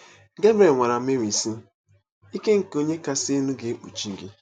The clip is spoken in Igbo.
Gebriel gwara Meri, sị: “ Ike nke Onye Kasị Elu ga-ekpuchi gị.